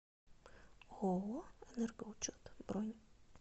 ооо энергоучет бронь